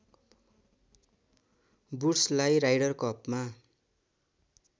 वुड्सलाई Ryder कपमा